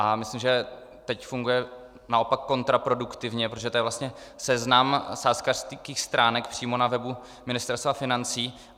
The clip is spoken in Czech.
A myslím, že teď funguje naopak kontraproduktivně, protože to je vlastně seznam sázkařských stránek přímo na webu Ministerstva financí.